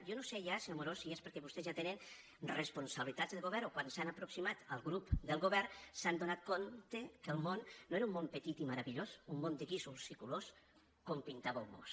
jo no sé ja senyor amorós si és perquè vostès ja tenen responsabilitats de govern o que quan s’han aproximat al grup del govern s’han adonat que el món no era un món petit i meravellós un món de guixos i colors com pintàveu vós